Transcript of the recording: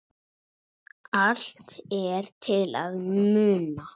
Allt er til að muna.